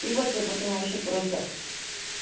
ебать я потом вообще просто